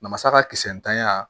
Namasa ka kisɛ ntanya